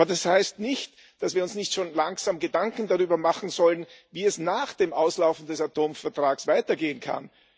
Das heißt nicht, dass wir uns nicht schon langsam Gedanken darüber machen sollen, wie es nach dem Auslaufen des Atomvertrags weitergehen kann.